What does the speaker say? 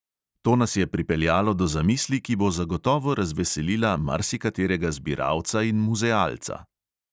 To nas je pripeljalo do zamisli, ki bo zagotovo razveselila marsikaterega zbiralca in muzealca.